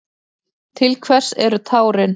Til hvers eru tárin?